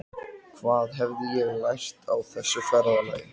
Til þess að koma honum undir aga heilagrar kirkju, vitaskuld!